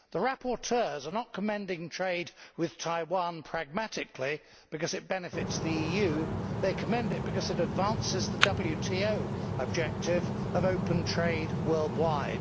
The rapporteurs are not commending trade with Taiwan pragmatically because it benefits the EU they commend it because it advances the WTO objective of open trade worldwide.